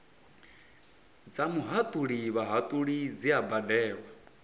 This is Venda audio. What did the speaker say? dza muhatuli vhahatuli dzi badelwa